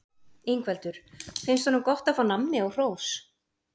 Ingveldur: Finnst honum gott að fá nammi og hrós?